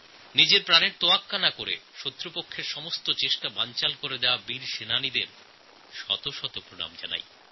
নিজেদের জীবনের পরোয়া না করে শত্রুপক্ষের সমস্ত প্রচেষ্টা বানচাল করে দিয়েছিলেন যে বীর সৈনিকরা তাঁদের শত শত প্রণাম করি